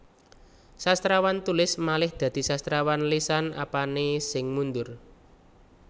Sastrawan tulis malih dadi sastrawan lesan Apane sing mundur